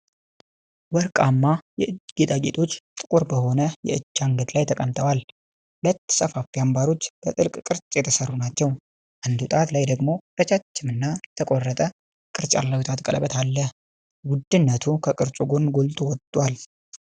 ወርቃማ የእጅ ጌጣጌጦች ጥቁር በሆነ የእጅ አንገት ላይ ተቀምጠዋል። ሁለቱ ሰፋፊ አምባሮች በጥልፍ ቅርጽ የተሠሩ ናቸው። አንዱ ጣት ላይ ደግሞ ረጃጅም እና የተቆረጠ ቅርጽ ያለው የጣት ቀለበት አለ። ውድነቱ ከቅርጹ ጎን ጎልቶ ወጥቷል።